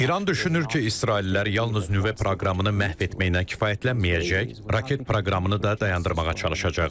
İran düşünür ki, İsraillilər yalnız nüvə proqramını məhv etməyinə kifayətlənməyəcək, raket proqramını da dayandırmağa çalışacaqlar.